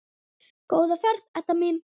Góða ferð, Edda mín.